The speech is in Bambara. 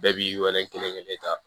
Bɛɛ b'i weele kelen kelen ta